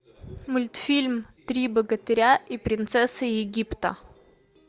мультфильм три богатыря и принцесса египта